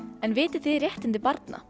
en vitið þið réttindi barna